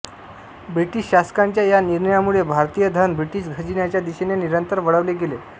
British शासकांच्या या निर्णयामुळे भारतीय धन ब्रिटिश खजिन्याच्या दिशेने निरंतर वळवले गेले